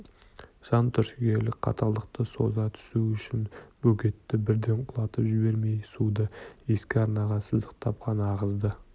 жан түршігерлік қаталдықты соза түсу үшін бөгетті бірден құлатып жібермей суды ескі арнаға сыздықтап қана ағызды